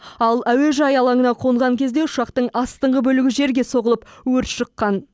ал әуежай алаңына қонған кезде ұшақтың астыңғы бөлігі жерге соғылып өрт шыққан